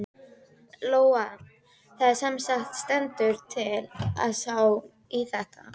Lóa: Það semsagt stendur til að sá í þetta?